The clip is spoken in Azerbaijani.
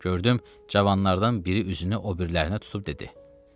Gördüm, cavanlardan biri üzünü o birilərinə tutub dedi: